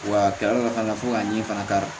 Wa a kɛra fana fo ka ɲɛ fana k'a